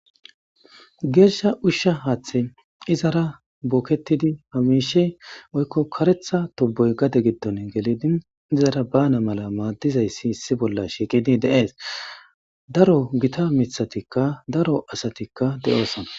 geersha ushsha haaththe izara booketidi hamishe oykko karetha toboy gade giddon gelidin izara bana mala maaddizayssi issi bolla shiiqidi deees daro gita mithatikka daro asatikka de7oosona